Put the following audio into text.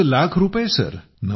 90 लाख रुपये